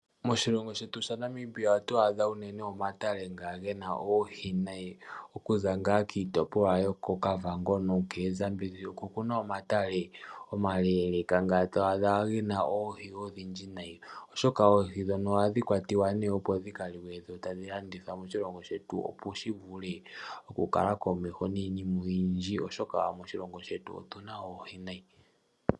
Moshilongo shetu shaNamibia ohatu adha mo unene omatale nga ge na oohi unene okuza ngaa kiitopolwa yoKavango nookoZambezi. Oko ku na omatale omaleeleka, ngoka to adha ge na oohi odhindji nayi, oshoka oohi ndhono ohadhi kwatwa, opo dhi ka liwe nenge tadhi landithwa moshilongo shetu, opo shi vule okukala komeho niinima oyindji, oshoka moshilongo shetu otu na oohi noonkondo.